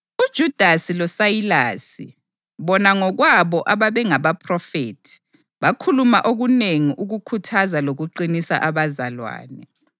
UJudasi loSayilasi, bona ngokwabo ababengabaphrofethi, bakhuluma okunengi ukukhuthaza lokuqinisa abazalwane.